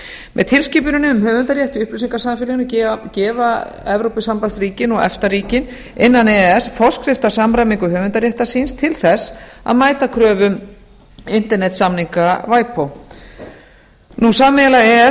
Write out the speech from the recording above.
með tilskipuninni um höfundarrétt í upplýsingasamfélaginu gefa evrópusambandsríkin og efta ríkin innan e e s forskrift að samræmingu höfundaréttar síns til þess að mæta kröfum internetssamninga ipod sameiginlega e e s nefndin